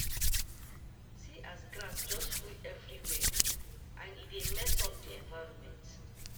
See as grass just full everywhere and e dey mess up the environment